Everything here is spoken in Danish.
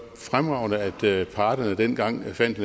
fremragende at parterne dengang fandt